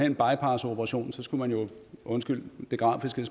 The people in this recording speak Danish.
en bypassoperation skulle man jo undskyld det grafiske